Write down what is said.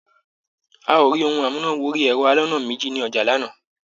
A ò rí ohun amúnà wọrí ẹ̀rọ aloná méjì ní ọjà lánàá.